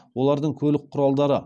олардың көлік құралдары